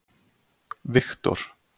Viktor